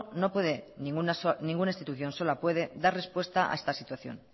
no puede ninguna institución sola puede dar respuesta a esta situación